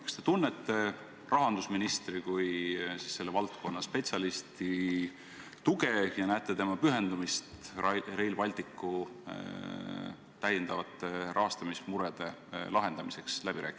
Kas te tunnete rahandusministri kui selle valdkonna spetsialisti tuge ja näete läbirääkimistel tema pühendumist Rail Balticu rahastamismurede lahendamisele?